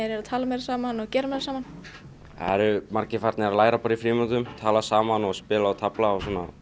eru að tala meira saman og gera meira saman það eru margir farnir að læra í frímínútum tala saman og spila og tefla